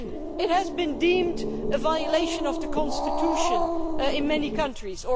It was then deemed a violation of the constitution in many countries.